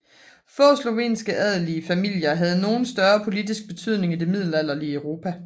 Få slovenske adelige familier havde nogen større politisk betydning i det middelalderlige Europa